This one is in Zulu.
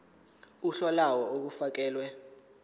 uhla lawo olufakelwe